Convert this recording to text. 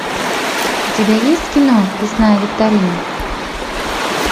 у тебя есть кино лесная викторина